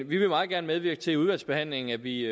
vi vil meget gerne medvirke til i udvalgsbehandlingen at vi